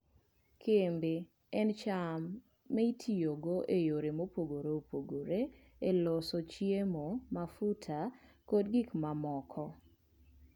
Kembe en cham ma itiyogo e yore mopogore opogore e loso chiemo, mafuta, kod gik mamoko.